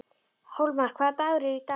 Hólmar, hvaða dagur er í dag?